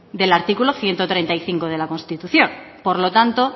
del artículo ciento treinta y cinco de la constitución por lo tanto